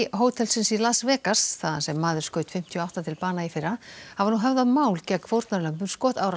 hótelsins í Las Vegas þaðan sem maður skaut fimmtíu og átta til bana í fyrra hafa nú höfðað mál gegn fórnarlömbum